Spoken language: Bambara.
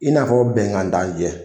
I n'afɔ bɛnkan tan cɛ.